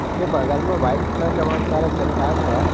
उसके बगल में वाइट कलर का बहुत सारा चट्टान है।